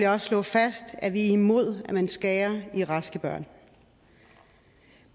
også slå fast at vi er imod at man skærer i raske børn